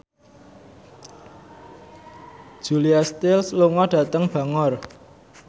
Julia Stiles lunga dhateng Bangor